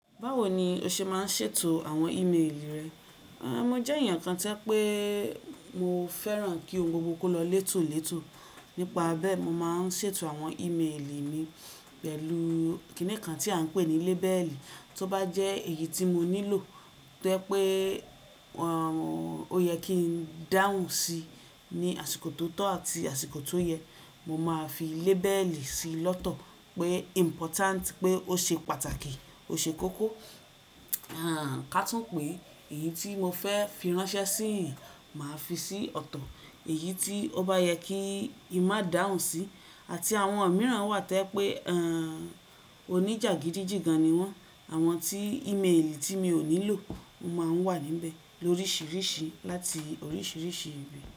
Báwo ni o ṣe máa ń ṣètò àwọn ímeèlì rẹ? À, mo jẹ́ èèyàn kan tí pé mo fẹ́ràn kí ohun gbogbo kó lọ létòlétò. Nípa bẹ́ẹ̀, mo máa ń ṣètò àwọn ímeèlì mi pẹ̀lú kìní kan tí à ń pè ní lébẹ́ẹ̀lì. Tí ó bá jẹ́ èyí tí mo nílò tẹ́ pé, àh, ó yẹ kí n dáhùn sí ní àsìkò tó tọ́ àti àsìkò tó yẹ, mo máa fi lébẹ́ẹ̀lì sí i lọ́tọ̀ pé important, pé ó ṣe pàtàkì, ó ṣe kókó. À káàtún pé èyí tí mo fẹ́ fi ránṣẹ́ síì, màá fi sí ọ̀tọ̀. Èyí tí ó bá yẹ kí i má dáhùn sí, àti àwọn mìíràn wà tẹ́ pé, àh, onijagidijigan ni wọ́n. Àwọn tí ímeèlì tí mi ò nílò máa ń wà níbẹ̀ lóríṣiríṣi láti oríṣiríṣi ibi.